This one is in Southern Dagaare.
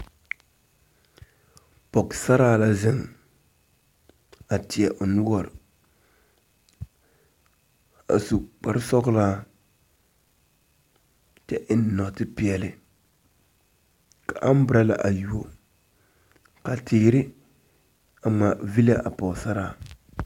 Pɔgesaraa la zeŋ a teɛ o noɔre a su kparesɔglaa kyɛ eŋ nɔɔte peɛle ka ambrala a yuo ka teere a ngmaa villaa a pɔgesaraa.